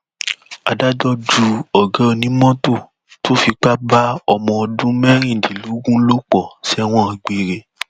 adájọ ju ọgá onímọtò tó fipá bá ọmọ ọdún mẹrìndínlógún lò pọ sẹwọn gbére